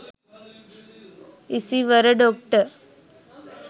isiwara doctor